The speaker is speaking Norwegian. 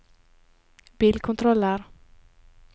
bilkontroller